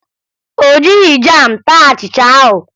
O jighi jam taa achịcha ahụ